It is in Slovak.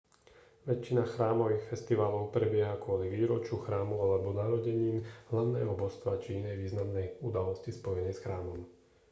väčšina chrámových festivalov prebieha kvôli výročiu chrámu alebo narodenín hlavného božstva či inej významnej udalosti spojenej s chrámom